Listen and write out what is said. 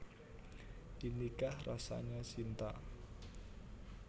Inikah Rasanya Cinta